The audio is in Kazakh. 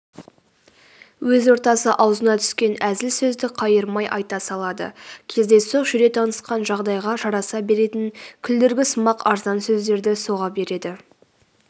өз ортасы аузына түскен әзіл сөзді қайырмай айта салады кездейсоқ жүре танысқан жағдайға жараса беретін күлдіргісымақ арзан сөздерді соға береді